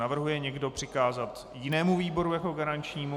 Navrhuje někdo přikázat jinému výboru jako garančnímu?